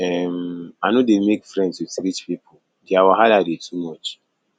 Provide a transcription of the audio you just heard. um i no dey make friends wit rich pipo their wahala dey too much